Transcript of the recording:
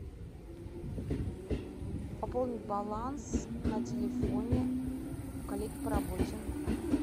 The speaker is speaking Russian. пополнить баланс на телефоне коллеги по работе